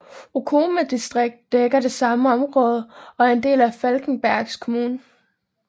Okome distrikt dækker det samme område og er en del af Falkenbergs kommun